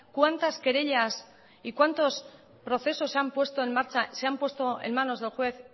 cuántas querellas y cuántos procesos se han puesto en marcha se han puesto en manos del juez